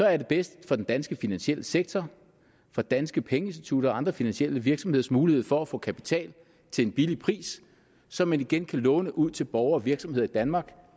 er bedst for den danske finansielle sektor for danske pengeinstitutter og andre finansielle virksomheders mulighed for at få kapital til en billig pris som man igen kan låne ud til borgere og virksomheder i danmark